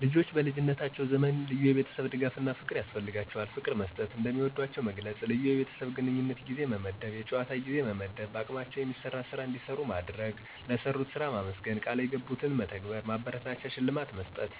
ልጆች በልጀነታቸዉ ዘመን ልዩየቤተሰብድጋፍፍና ፍቅር ያስፈልጋቸዋል። ፍቅርመሰጠት፣ እንደሚወዷቸዉ መግለጽ፣ ልዪ የቤተሰብ ግንኙነትጊዜ መመደብ፣ የጨዋታጊዜመመደብ፣ በአቅማቸዉ የሚሰራስራ እንዲሰሩማድረግ፣ ለሰሩትስራ ማመስገን፣ ቀልየገቡትን መተግበር፣ ማበረታቻሽልማት መስጠት